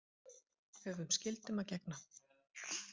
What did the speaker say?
Höfum skyldum að gegna